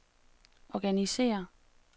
organisér